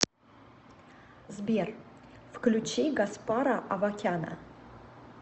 сбер включи гаспара авакяна